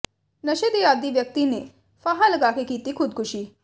ਨਸ਼ੇ ਦੇ ਆਦੀ ਵਿਅਕਤੀ ਨੇ ਫਾਹਾ ਲਗਾ ਕੇ ਕੀਤੀ ਖੁਦਕੁਸ਼ੀ